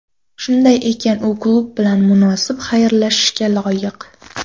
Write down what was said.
Shunday ekan, u klub bilan munosib xayrlashishga loyiq.